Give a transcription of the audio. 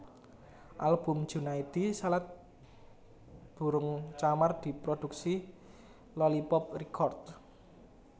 Album Junaedi Salat Burung Camar diproduksi Lolypop Record